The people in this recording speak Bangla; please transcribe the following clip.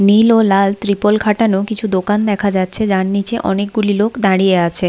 নীল ও লাল ত্রিপল খাটানো কিছু দোকান দেখা যাচ্ছে যার নিচে অনেকগুলি লোক দাঁড়িয়ে আছে।